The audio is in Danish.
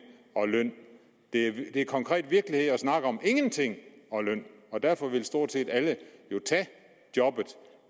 og løn det er konkret virkelighed at snakke om ingenting og løn og derfor vil stort set alle jo tage jobbet